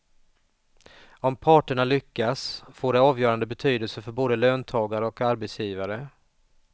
Om parterna lyckas får det avgörande betydelse för både löntagare och arbetsgivare.